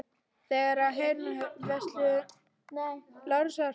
Þær höfðu hreinlega horfið úr vörslu Lárusar.